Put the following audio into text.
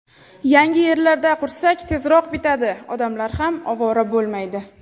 Yangi yerlarda qursak, tezroq bitadi, odamlar ham ovora bo‘lmaydi.